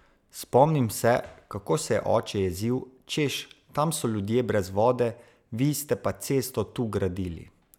Spomnim se, kako se je oče jezil, češ, tam so ljudje brez vode, vi ste pa cesto tu gradili!